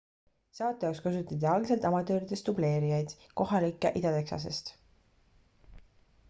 saate jaoks kasutati algselt amatööridest dubleerijaid kohalikke ida-texasest